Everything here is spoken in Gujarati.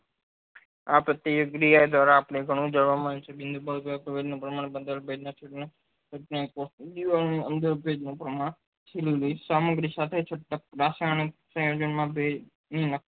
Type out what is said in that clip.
આ બધી પ્રક્રિયા દ્વારા આપડે ગણું જાણવા, મળ્યું છે સામગ્રી સાથે છૂટક રસાયણ છે